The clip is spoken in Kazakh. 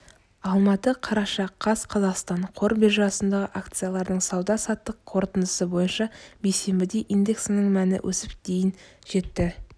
алматы қараша қаз қазақстан қор биржасындағы акциялардың сауда-саттық қорытындысы бойынша бейсенбіде индексінің мәні өсіп дейін жетті